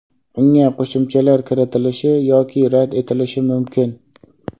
unga qo‘shimchalar kiritilishi yoki rad etilishi mumkin.